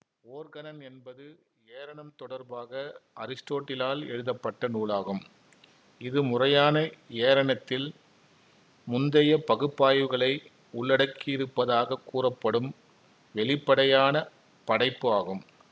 ஓர்கனன் என்பது ஏரணம் தொடர்பாக அரிஸ்டோட்டிலால் எழுதப்பட்ட நூலாகும் இது முறையான ஏரணத்தில் முந்தைய பகுப்பாய்வுகளை உள்ளடக்கியிருப்பதாகக் கூறப்படும் வெளிப்படையான படைப்பு ஆகும்